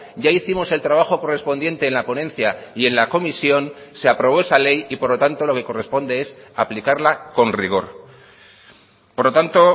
ya hicimos el trabajo correspondiente en la ponencia y en la comisión se aprobó esa ley y por lo tanto lo que corresponde es aplicarla con rigor por lo tanto